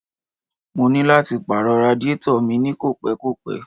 Mo ní lò láti pàrọ̀ radiátọ̀ mi ní kò pẹ́ kò pẹ́.